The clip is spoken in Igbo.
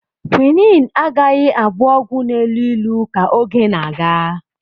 Quinne agaghị abụ ọgwụ na-elu ilu ka oge na-aga.